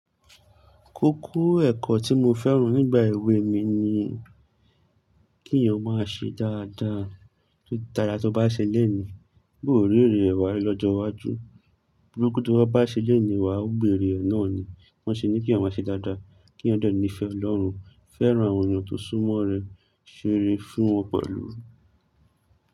Kókó ẹ̀kọ́ tí mo fẹ́ràn nígbà èwe mi ni kí èèyàn ó máa ṣe dáadáa. Títara tó bá ṣe lónìí, bóò rí èrè ẹ wá lọ́jọ́ iwájú. Burúkú tó bá ṣe lónìí, wà á gbèrè ẹ náà ni. Wọn ṣe ni kí èèyàn máa ṣe dáadáa, kí èèyàn dẹ ní ìfẹ́ Ọlọ́run, fẹ́ràn àwọn èèyàn tó sún mọ́ rẹ, ṣeré fún wọn pẹ̀lú.